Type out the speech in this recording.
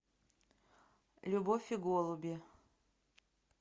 любовь и голуби